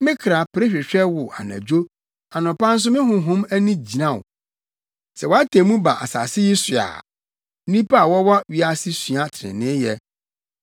Me kra pere hwehwɛ wo anadwo; anɔpa nso me honhom ani gyina wo. Sɛ wʼatemmu ba asase yi so a, nnipa a wɔwɔ wiase sua treneeyɛ.